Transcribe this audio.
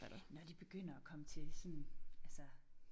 Når de begynder at komme til sådan altså